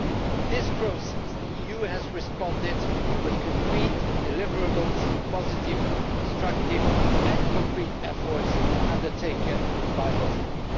In this process the EU has responded with concrete deliverables to positive, constructive and concrete efforts undertaken by Bosnia.